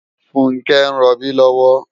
Funke n ròbi lòwò